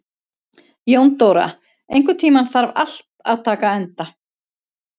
Jóndóra, einhvern tímann þarf allt að taka enda.